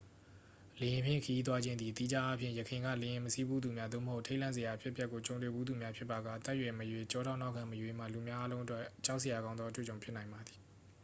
လေယာဉ်ဖြင့်ခရီးသွားခြင်းသည် သီးခြားအားဖြင့် ယခင်က လေယာဉ်မစီးဖူးသူများ သို့မဟုတ် ထိတ်လန့်စရာအဖြစ်အပျက်ကိုကြုံတွေ့ဖူးသူများဖြစ်ပါက အသက်အရွယ်မရွေး ကျောထောက်နောက်ခံမရွေးမှ လူများအားလုံးအတွက် ကြောက်စရာကောင်းသောအတွေ့အကြုံဖြစ်နိုင်ပါသည်